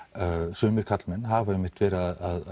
sumir karlmenn hafa einmitt að